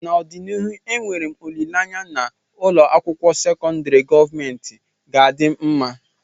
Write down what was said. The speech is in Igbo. n'ọdịnihu enwere m olileanya na ụlọ akwụkwọ sekọndrị gọọmentị ga-adị mma